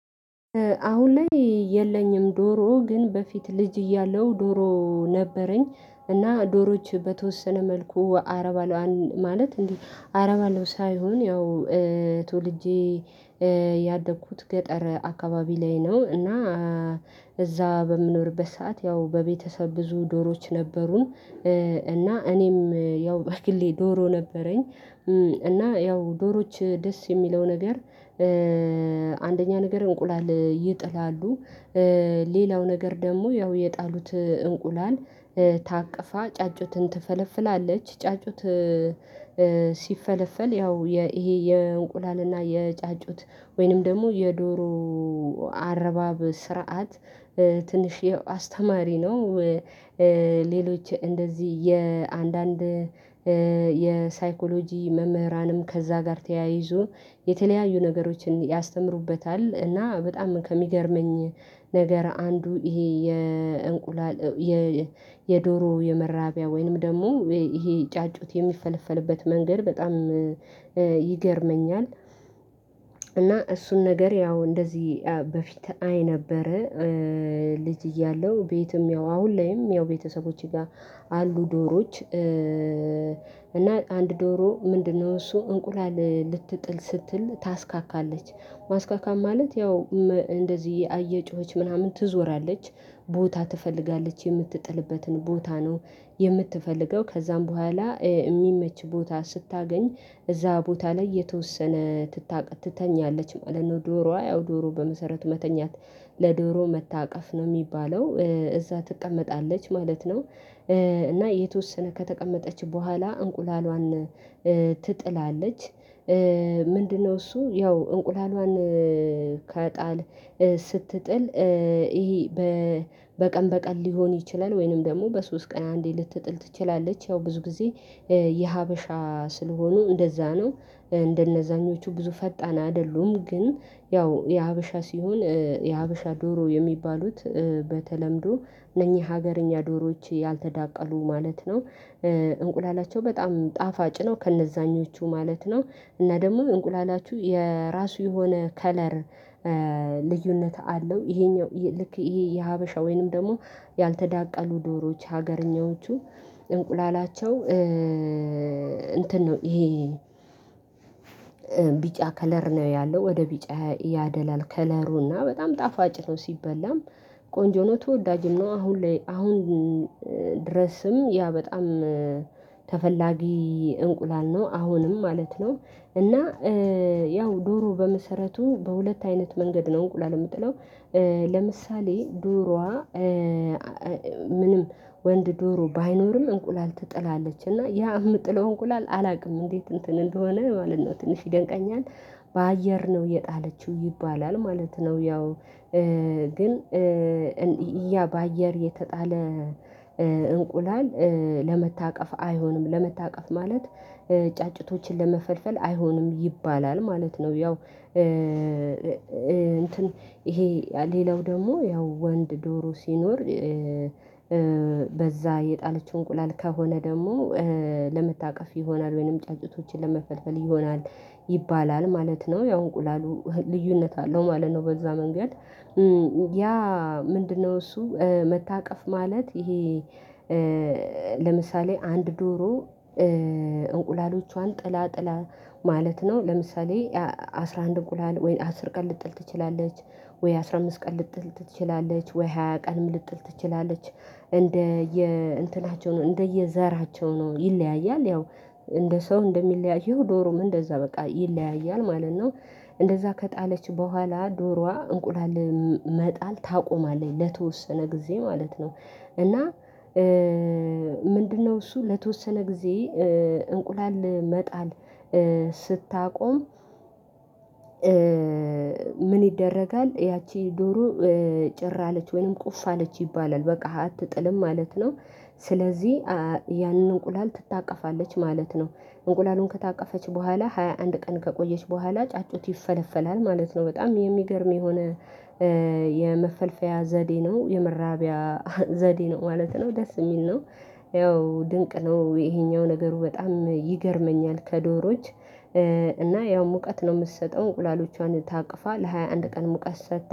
አሁን ላይ የለኝም ዶሮ ግን በፊት ልጅ እያለው ዶሮ ነበረኝ እና ዶሮዎች በተወሰነ መልኩ አረባለዋ ማለት እንዴ አረባለው ሳይሆን ያው ተወልጄ ያደኩት ገጠረ አካባቢ ላይ ነው። እና እዛ በምኖርበት ሰዓት ያው በቤተሰብ ብዙ ዶሮዎች ነበሩን። እና እኔም ያው ባክሌ ዶሮ ነበረኝ እና ያው ዶሮዎች ደስ የሚለው ነገር። አንደኛ ነገር እንቁላል ይጥላሉ። ሌላው ነገር ደግሞ ያው የጣሉት እንቁላል ታቅፋ ጫጩትን ትፈለፍላለች ጫጩት። ሲፈለፈል ያው ይሄ የእንቁላልና የጫጩት ወይንም ደግሞ የዶሮ አረባብ ስርዓት ትንሽ አስተማሪ ነው። ሌሎች እንደዚህ የአንዳንድ የሳይኮሎጂ መምህራንም ከዛ ጋር ተያይዞ የተለያዩ ነገሮችን ያስተምሩበታል። እና በጣም ከሚገርመኝ ነገር አንዱ ይሄ የእንቁላል የዶሮ የመራቢያ ወይንም ደግሞ ይሄ ጫጩት የሚፈለፈልበት መንገድ በጣም ይገርመኛል። እና እሱን ነገር ያው እንደዚህ በፊት አይ ነበረ። ልጅ እያለሁ ቤትም ያው አሁን ላይም ያው ቤተሰቦቼ ጋር አሉ ዶሮዎች እና አንድ ዶሮ ምንድነው? እሱ እንቁላል ልትጥል ስትል ታስካካለች ማስካካት ማለት ያው እንደዚህ አየጩኸች ምናምን ትዞራለች። ቦታ ትፈልጋለች የምትጥልበትን ቦታ ነው የምትፈልገው ከዛም በኋላ የሚመች ቦታ ስታገኝ እዛ ቦታ ላይ የተወሰነ ትተኛለች ማለት ነው። ዶሮዋ ዶሮ በመሰረቱ መተኛት ለዶሮ መታቀፍ ነው የሚባለው እዛ ትቀመጣለች ማለት ነው። እና የተወሰነ ከተቀመጠች በኋላ እንቁላሏን ትጥላለች። ምንድነው? እሱ ያው እንቁላልዋን ከጣል ስትጥል ይሄ በቀን በቀን ሊሆን ይችላል ወይንም ደግሞ በሶስት ቀን አንዴ ልትጥል ትችላለች። ያው ብዙ ጊዜ የሀበሻ ስለሆኑ እንደዛ ነው። እንደነዛኞቹ ብዙ ፈጣን አይደሉም ግን ያው የሀበሻ ሲሆን የሀበሻ ዶሮ የሚባሉት በተለምዶ እነኚህ ሀገርኛ ዶሮዎች ያልተዳቀሉ ማለት ነው። እንቁላላቸው በጣም ጣፋጭ ነው። ከእነዛኞቹ ማለት ነው። እና ደግሞ እንቁላላችሁ የራሱ የሆነ ከለር ልዩነት አለው። ይሄኛው ልክ ይሄ የሀበሻ ወይንም ደግሞ ያልተዳቀሉ ዶሮዎች ሀገርኞዎቹ እንቁላላቸው እንትን ነው ይሄ ቢጫ ከለር ነው ያለው ወደ ቢጫ ያደላል ከለሩና በጣም ጣፋጭ ነው። ሲበላም ቆንጆ ነው ተወዳጅም ነው። አሁን ላይ አሁን ድረስም ያ በጣም ተፈላጊ እንቁላል ነው። አሁንም ማለት ነው። እና ያው ዶሮ በመሰረቱ በሁለት አይነት መንገድ ነው እንቁላል የምጥለው። ለምሳሌ ዶሮዋ ምንም ወንድ ዶሮ ባይኖርም እንቁላል ትጥላለች እና ያ የምጥለው እንቁላል አላውቅም እንዴት? እንትን እንደሆነ ማለት ነው ትንሽ ይደንቀኛል። በአየር ነው የጣለችው ይባላል ማለት ነው። ያው ግን እያ በአየር የተጣለ እንቁላል ለመታቀፍ አይሆንም። ለመታቀፍ ማለት ጫጭቶችን ለመፈልፈል አይሆንም ይባላል ማለት ነው። ያው እንትን ይሄ ሌላው ደግሞ ያው ወንድ ዶሮ ሲኖር። በዛ የጣለችው እንቁላል ከሆነ ደግሞ ለመታቀፍ ይሆናል ወይንም ጫጩቶችን ለመፈልፈል ይሆናል። ይባላል ማለት ነው ያው እንቁላሉ ልዩነት አለው ማለት ነው። በዛ መንገድ ያ ምንድነው? እሱ መታቀፍ ማለት ይሄ ለምሳሌ አንድ ዶሮ እንቁላሎቿን ጥላ ጥላ ማለት ነው። ለምሳሌ አስራ አንድ እንቁላል ወይ አስር ቀን ልጥል ትችላለች። ወይ አስራ አምስት ቀን ልጥል ትችላለች ወይ ሃያ ቀንም ልጥል ትችላለች። እንደ የእንትናቸው ነው እንደየዘራቸው ነው ይለያያል ያው እንደ ሰው እንደሚለያየው ዶሮም እንደዛ በቃ ይለያያል ማለት ነው። እንደዛ ከጣለች በኋላ ዶሮዋ እንቁላል መጣል ታቆማለኝ ለተወሰነ ጊዜ ማለት ነው። እና ምንድነው? እሱ ለተወሰነ ጊዜ እንቁላል መጣል ስታቆም። ምን ይደረጋል? ያቺ ዶሮ ጭር አለች ወይንም ቁፍ አለች ይባላል በቃ አትጥልም ማለት ነው። ስለዚህ ያንን እንቁላል ትታቀፋለች ማለት ነው። እንቁላሉን ከታቀፈች በኋላ ሃያ አንድ ቀን ከቆየች በኋላ ጫጩት ይፈለፈላል ማለት ነው። በጣም የሚገርም የሆነ የመፈልፈያ ዘዴ ነው የመራቢያ ዘዴ ነው ማለት ነው ደስ የሚል ነው። ያው ድንቅ ነው ይሄኛው ነገሩ በጣም ይገርመኛል። ከዶሮዎች እና ያው ሙቀት ነው የምትሰጠው እንቁላሎቿን ታቅፋ ለሃያ አንድ ቀን ሙቀት ሰጥታ